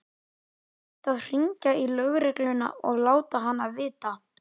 Hann ætti að hringja í lögregluna og láta hana vita.